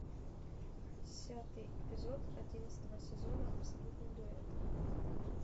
десятый эпизод одиннадцатого сезона абсолютный дуэт